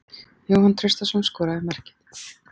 Jóhann Traustason skoraði markið.